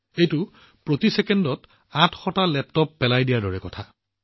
এইটো এনেকুৱা হৈছে যেন প্ৰতি ছেকেণ্ডত ৮০০ টা লেপটপ পেলাই দিয়া হৈছে